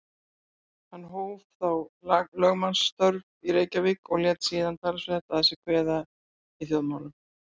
Hann hóf þá lögmannsstörf í Reykjavík og lét síðan talsvert að sér kveða í þjóðmálum.